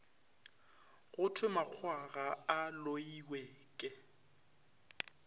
go thwemakgowa ga a loiweke